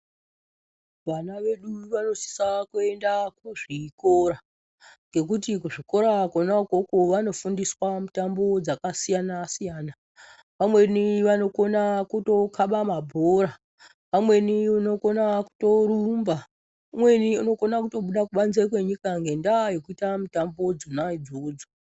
Vana vedu vanosisa kuenda kuzvikora, ngekuti kuzvikora kona ukoko vanofundiswa mitambo dzakasiyana-siyana. Vamweni vanokona kutokhaba mabhora, vamweni unokona kutorumba, umweni unokona kutobuda kubanze kwenyika ngendaa yekuita mitamba dzona idzodzo.